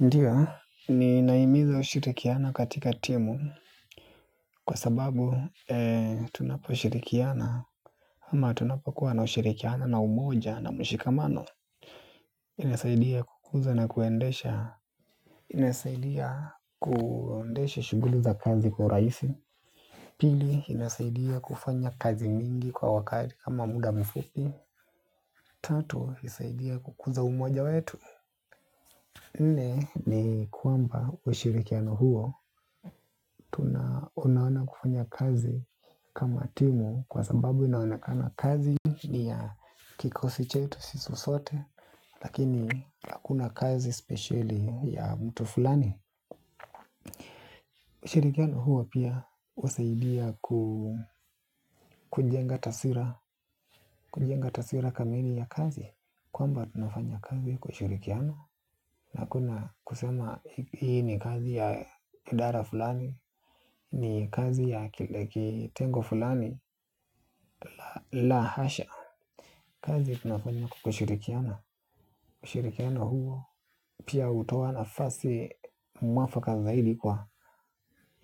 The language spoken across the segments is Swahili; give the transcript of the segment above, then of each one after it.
Ndiyo ninaiimiza ushirikiana katika timu kwa sababu tunaposhirikiana ama tunapokuwa na ushirikiana na umoja na mshikamano inasaidia kukuza na kuendesha. Inasaidia kuendesha shuguli za kazi kwa raisi. Pili inasaidia kufanya kazi mingi kwa wakati kama muda mfupi. Tatu isaidia kukuza umoja wetu. Nne ni kwamba ushirikiano huo tunaoanana kufanya kazi kama timu kwa sababu inaonekana kazi ni ya kikosi chetu sisi sote lakini hakuna kazi speciali ya mtu fulani. Ushirikiano huo pia husaidia kujenga taswira kamili ya kazi. Kwamba tunafanya kazi kwa ushirikiano. Na hakuna kusema hii ni kazi ya idara fulani. Ni kazi ya kitengo fulani la hasha. Kazi tunafanya kwa ushurikiano ushurikiano huo pia hutowa nafasi mwafaka zaidi kwa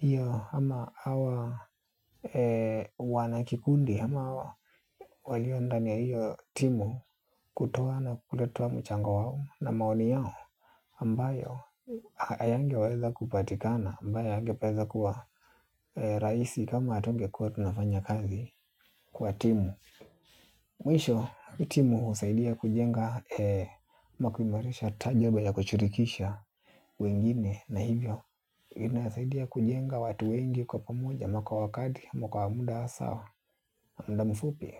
iyo hama awa wanakikundi hama waliondani ya iyo timu kutoa na kuleta mchanga wao na maoni yao ambayo hayangeweza kupatikana ambayo angepeza kuwa raisi kama atungekuwa tunafanya kazi kwa timu. Mwisho timu husaidia kujenga ama kuimarisha tajoba ya kushirikisha wengine na hivyo inasidia kujenga watu wengi kwa pamoja ama kwa wakati ama kwa muda sawa. Mda mfupi.